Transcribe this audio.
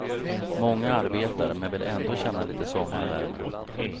Många arbetar, men vill ändå känna lite sommarvärme.